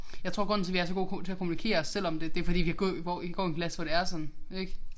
Jeg tror grunden til vi er så gode til at kommunikere selvom det det fordi vi gø gå går i en klasse hvor det er sådan ik